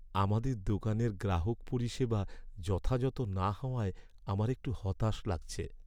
আমাদের দোকানের গ্রাহক পরিষেবা যথাযথ না হওয়ায় আমার একটু হতাশ লাগছে।